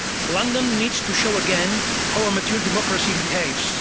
London needs to show again how a mature democracy behaves.